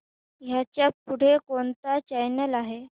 ह्याच्या पुढे कोणता चॅनल आहे